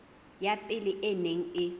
ya pele e neng e